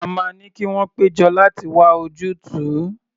A máa ní kí wọ́n pé jọ láti wá ojútùú.